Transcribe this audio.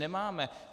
Nemáme.